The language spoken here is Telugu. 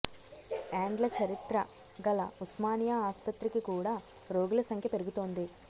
ఏండ్ల చరిత్ర గల ఉస్మానియా ఆస్పత్రికి కూడా రోగుల సంఖ్య పెరుగుతోంది